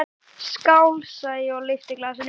Skál, sagði ég og lyfti glasinu.